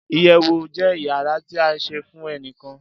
iyewu je iyara ti a se fun enikan